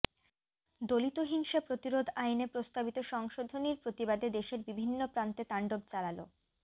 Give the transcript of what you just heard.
দলিত হিংসা প্রতিরোধ আইনে প্রস্তাবিত সংশোধনীর প্রতিবাদে দেশের বিভিন্ন প্রান্তে তাণ্ডব চালাল